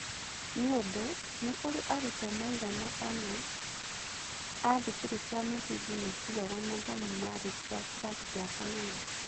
Nĩũndũ, nĩkũrĩ arutwo maigana-ona a thukuru cia mũthingi matigaga mathomo marĩkia kĩrathi gĩa kanana.